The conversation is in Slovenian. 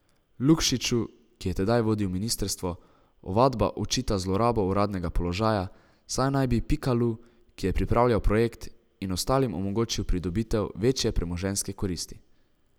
Lukšiču, ki je tedaj vodil ministrstvo, ovadba očita zlorabo uradnega položaja, saj naj bi Pikalu, ki je pripravljal projekt, in ostalim omogočil pridobitev večje premoženjske koristi.